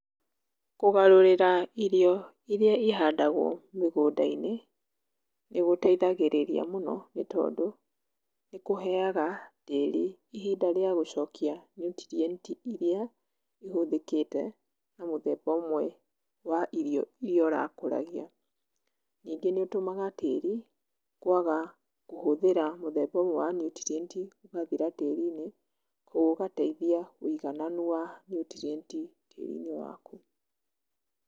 Kũgarũrĩra irio iria ihandagwo mĩgũnda-inĩ, nĩgũteithagĩrĩria mũno nĩtondũ, nĩkũheaga tĩri ihinda rĩa gũcokia nutrient iria ihũthĩkĩte na mũthemba ũmwe wa irio iria ũrakũragia. Nĩngĩ nĩũtũmaga tĩri kwaga kũhũthĩra mũthemba ũmwe wa nutrient ũgathira tĩrĩnĩ, ũgateithia wĩigananu wa nutrient tĩri-inĩ waku.